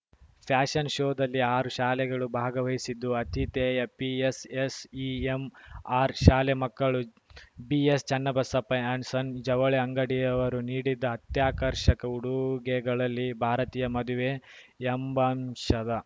fashion ಶೋದಲ್ಲಿ ಆರು ಶಾಲೆಗಳು ಭಾಗವಹಿಸಿದ್ದು ಆತಿಥೇಯ ಪಿಎಸ್‌ಎಸ್‌ಇಎಂಆರ್‌ ಶಾಲೆ ಮಕ್ಕಳು ಬಿಎಸ್‌ ಚನ್ನಬಸಪ್ಪ ಅಂಡ್‌ ಸನ್ಸ ಜವಳಿ ಅಂಗಡಿಯವರು ನೀಡಿದ್ದ ಅತ್ಯಾಕರ್ಷಕ ಉಡುಗೆಗಳಲ್ಲಿ ಭಾರತೀಯ ಮದುವೆ ಎಂಬಂಶದ